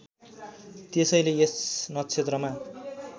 त्यसैले यस नक्षत्रमा